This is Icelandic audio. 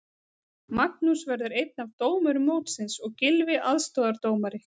Magnús verður einn af dómurum mótsins og Gylfi aðstoðardómari.